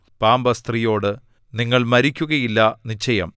പാമ്പ് സ്ത്രീയോട് നിങ്ങൾ മരിക്കുകയില്ല നിശ്ചയം